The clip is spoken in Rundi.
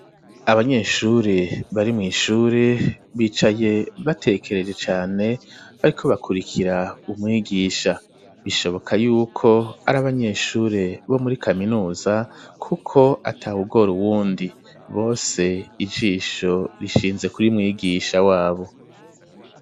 Abanyeshuri, bari mw'ishuri, bicaye batekereje cane, bariko bakurikira umwigisha; bishoboka y'uko ari abanyeshuri, bo muri kaminuza, kuko atawugora uwundi, bose, ijisho rishinze, kuri mwigisha wabo.